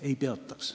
Ei peatanuks.